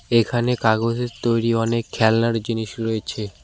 এখানে কাগজের তৈরি অনেক খেলনার জিনিস রয়েছে।